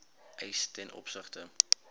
eis ten opsigte